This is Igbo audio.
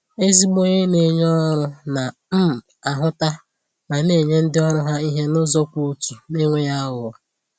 Ezigbo onye na-enye ọrụ na um ahụta ma na-enye ndi ọrụ ha ihe n’ụzọ kwụ ọtọ, n’enweghị àghụ̀ghọ.